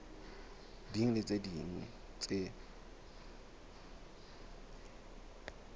ding le tse ding tse